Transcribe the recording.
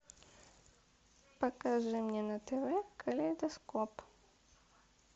покажи мне на тв калейдоскоп